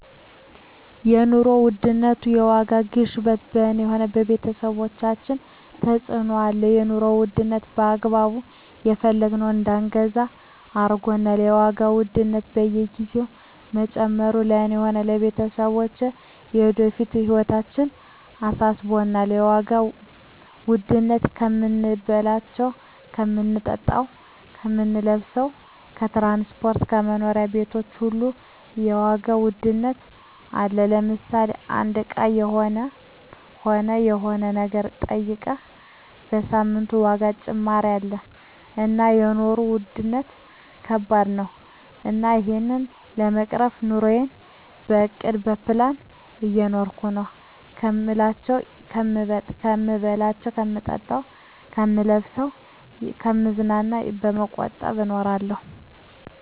የኑሮ ውድነት የዋጋ ግሽበት በኔ ሆነ በቤተሰቦቻችን ተጽእኖ አለው የኑሮ ዉድነቱ በአግባቡ የፈለግነውን እዳንገዛ አርጎናል የዋጋ ውድነት በየግዜው መጨመሩ ለእኔ ሆነ ለቤተሰቦቸ ለወደፊት ህይወታችን አሳስቦኛል የዋጋ ዉድነቱ ከምንበላው ከምንጠጣው ከምንለብሰው ከትራንስፖርት ከመኖሪያ ቤቶች ሁሉ የዋጋ ውድነት አለ ለምሳሌ አንዱ እቃ ሆነ የሆነ ነገር ጠይቀ በሳምንት የዋጋ ጭማሪ አለ እና የኖሩ ዉድነት ከባድ ነው እና እሄን ለመቅረፍ ኑረየን በእቅድ በፕላን እየኖርኩ ነው ከምበላው ከምጠጣ ከምለብሰው ከምዝናናው በመቆጠብ እኖራለሁ